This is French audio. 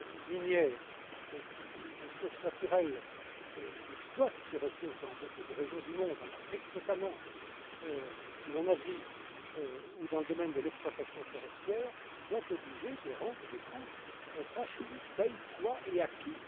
minière des ressources naturelles, qui exploitent ces ressources dans beaucoup de régions du monde, en Afrique notamment, ou en Asie, ou dans le domaine de l'exploitation forestière, soient obligées de rendre des comptes, de manière qu'on sache qui paie quoi et à qui.